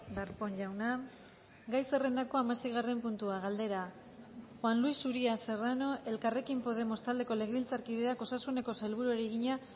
darpón jauna gai zerrendako hamaseigarren puntua galdera juan luis uria serrano elkarrekin podemos taldeko legebiltzarkideak osasuneko sailburuari egina